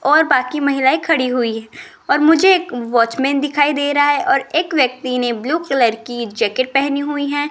और बाकी महिलाएं खड़ी हुई है और मुझे एक वॉचमैन दिखाई दे रहा है और एक व्यक्ति ने ब्लू कलर की जैकेट पहनी हुई है।